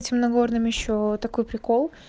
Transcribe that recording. темнагорным ещё такой прикол